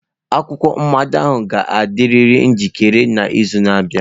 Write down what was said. Akwụkwọ mmado ahụ ga-adịriri njikere n'izu na-abịa.